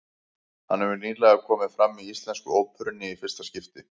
Hann hefur nýlega komið fram í Íslensku óperunni í fyrsta skipti.